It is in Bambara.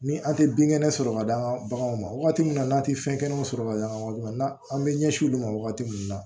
Ni an tɛ bin kɛnɛ sɔrɔ ka d'an ka baganw ma wagati min na n'an tɛ fɛn kɛnɛw sɔrɔ ka d'an ma an bɛ ɲɛsin olu ma wagati min na